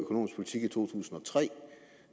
i to tusind og tre